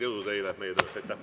Jõudu teile meie töös!